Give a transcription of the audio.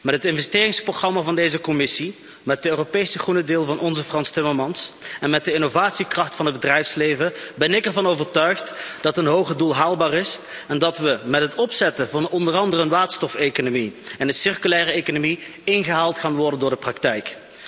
Met het investeringsprogramma van deze Commissie, met de Europese Green Deal van onze Frans Timmermans, en met de innovatiekracht van het bedrijfsleven ben ik ervan overtuigd dat een hoger doel haalbaar is en dat we met het opzetten van onder andere een waterstofeconomie en een circulaire economie ingehaald gaan worden door de praktijk.